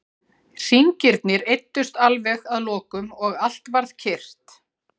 Hringirnir eyddust alveg að lokum og allt varð kyrrt.